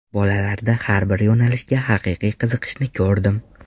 Bolalarda har bir yo‘nalishga haqiqiy qiziqishni ko‘rdim.